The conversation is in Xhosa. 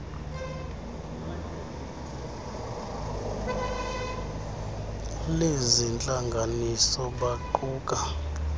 lezi ntlanganiso baquka